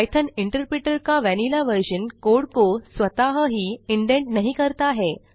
Python interpreter का vanilla version code को स्वतः ही इंडेंट नहीं करता है